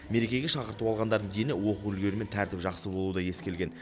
мерекеге шақырту алғандардың дені оқу үлгерімі мен тәртібі жақсы болуы да ескерілген